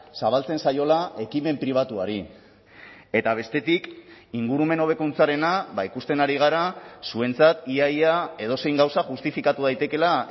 zabaltzen zaiola ekimen pribatuari eta bestetik ingurumen hobekuntzarena ikusten ari gara zuentzat ia ia edozein gauza justifikatu daitekeela